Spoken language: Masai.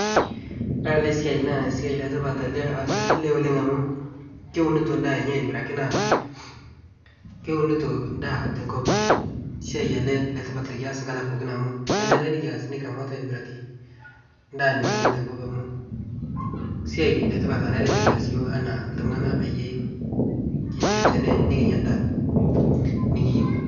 Ore ele siai naa siai letipat ele oasita ele lee oleng' amu keunito ndaa enye aitibiraki naa keunito ndaa tenkop. Siai ele letipat lekias nkata pookin amu kenare nikias nikiramat aitibiraki ndaa nikiun tenkop amu siai letipat lonare pekias iyiok anaa iltung'ana peyie kinchu tene nekinya ndaa nikiyou.